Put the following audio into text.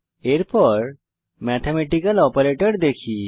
এরপর ম্যাথমেটিক্যাল গাণিতিক অপারেটর দেখি